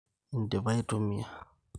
Indipia aitumia.